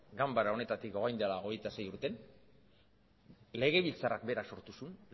ganbara honetatik orain dela hogeita sei urtean legebiltzarrak berak sortu zuen